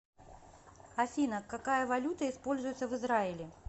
афина какая валюта используется в израиле